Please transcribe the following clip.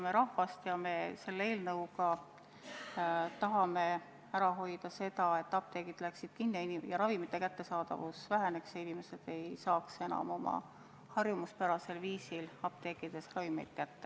Me tahame selle eelnõuga ära hoida seda, et apteegid lähevad kinni, et ravimite kättesaadavus väheneb ja inimesed ei saa enam harjumuspärasel viisil apteekidest ravimeid kätte.